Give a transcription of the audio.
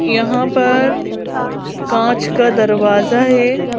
यहाँ पर कांच का दरवाजा है।